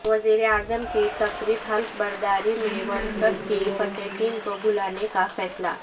وزیراعظم کی تقریب حلف برداری میں ورلڈکپ کی فاتح ٹیم کو بلانے کا فیصلہ